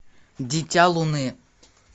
дитя луны